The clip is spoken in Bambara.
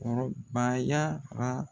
Kɔrɔbayara.